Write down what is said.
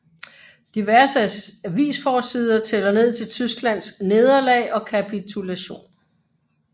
Diverse avisforsider tæller ned til Tysklands nederlag og kapitulation